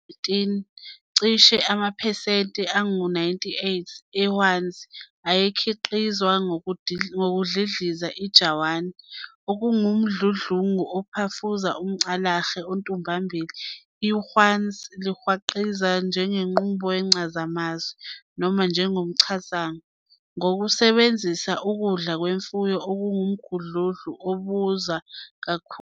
19, cishe amaphesenti, 98, ehwanzi ayekhiqizwa ngokudlidlizisa ijawani, okungumdludlungu ophafuza umCalahle ontuhlambili. Ihwanzi lingakhiqizwa ngenqubo yencazamanzi, noma ngomchadavanga "thermochemical" ngokusebenzisa ukudla kwemfuyo, okungumdludlungu obiza kakhulu.